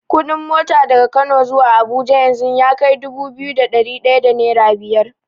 Kuɗin mota daga Kano zuwa Abuja yanzu yakai dubu biyu da ɗari ɗaya da nera biyar.